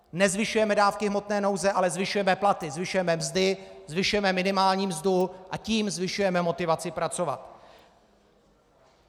Nezvyšujeme dávky hmotné nouze, ale zvyšujeme platy, zvyšujeme mzdy, zvyšujeme minimální mzdu, a tím zvyšujeme motivaci pracovat!